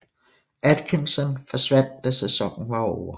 Atkinson forsvandt da sæsonen var ovre